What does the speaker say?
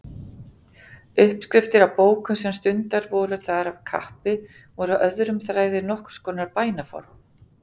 Uppskriftir á bókum sem stundaðar voru þar af kappi voru öðrum þræði nokkurs konar bænaform.